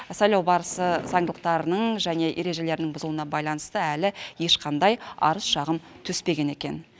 сайлау барысы заңдылықтарының және ережелерінің бұзылуна байланысты әлі ешқандай арыз шағым түспеген екен